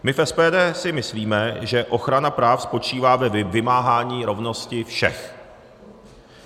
My v SPD si myslíme, že ochrana práv spočívá ve vymáhání rovnosti všech.